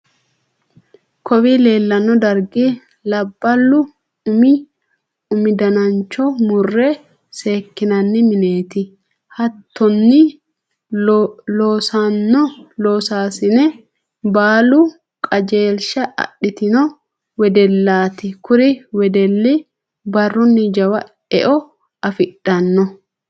kowii leellanno dargi labballu umi danancho murre seekinanni mineeti. hattonni loossanno loosaasine baalu qajeelisha adhitino weddelaati. kuri weddilli barrunni jawa eo afidhanno.